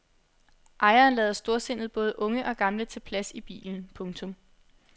Ejeren lader storsindet både unge og gamle tage plads i bilen. punktum